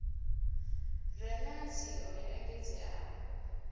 re na nzio yo engedzeaho